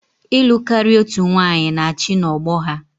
Ịlụ karia otu nwanyị na-achị n'ọgbọ ha